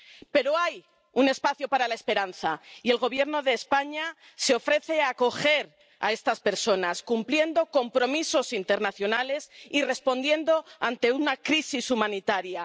Pero hay un espacio para la esperanza, y el Gobierno de España se ofrece a acoger a estas personas, cumpliendo compromisos internacionales y respondiendo ante una crisis humanitaria.